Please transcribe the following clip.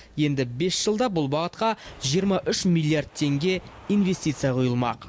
енді бес жылда бұл бағытқа жиырма үш миллиард теңге инвестиция құйылмақ